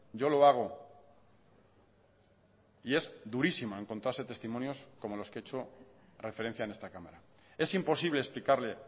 yo lo hago y es durísimo encontrarse testimonios como los que he hecho referencia en esta cámara es imposible explicarle